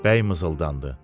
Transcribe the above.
Bəy mızıldandı.